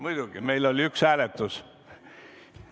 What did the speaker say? Muidugi, meil oli üks hääletus.